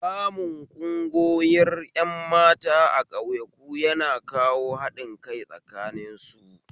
Samun ƙungoyir ƴan mata a ƙauyaku yana kawo haɗin kai tsakanin su